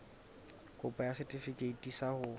kopo ya setefikeiti sa ho